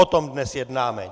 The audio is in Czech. O tom dnes jednáme.